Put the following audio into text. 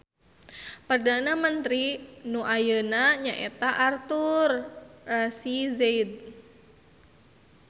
Perdana mentri nu ayeuna nyaeta Artur Rasizade.